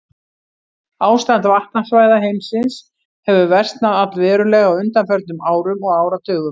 Ástand vatnasvæða heimsins hefur versnað allverulega á undanförnum árum og áratugum.